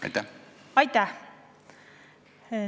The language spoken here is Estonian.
Aitäh!